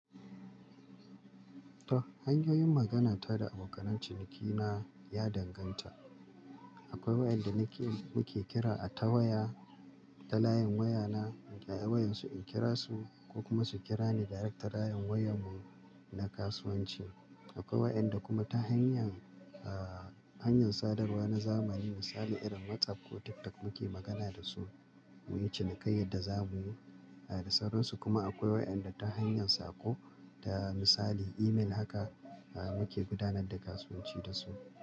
To, hanyoyin magana ta da abokan cinikina ya danganta. Akwai waɗanda muke kira a ta waya, ta layin wayana, a wayar su in kira su ko kuma su kira ni direct ta layin wayar mu na kasuwanci. Akwai waɗanda kuma ta hanyar, ah, hanyar sadarwa na zamani misali irin WhatsApp ko TikTok muke magana da su, mu yi cinikayyar da za mu yi da sauransu. Kuma akwai waɗanda ta hanyar saƙo ta misali email haka muke gudanar da kasuwanci da su.